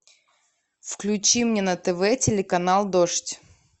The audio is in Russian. включи мне на тв телеканал дождь